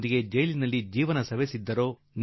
ಒಂದು ರೀತಿಯಲ್ಲಿ ಇಡೀ 0iÀiËವ್ವನವೇ ಕಳೆದುಕೊಂಡು ಬಿಟ್ಟರು